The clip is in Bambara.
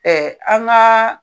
an ka